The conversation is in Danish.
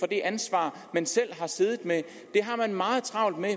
det ansvar man selv har siddet med det har man meget travlt med